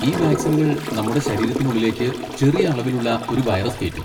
ഈ വാക്സിനുകൾ നമ്മുടെ ശരീരത്തിനുള്ളിലേക്ക് ചെറിയ അളവിലുള്ള ഒരു വൈറസ് കേറ്റും.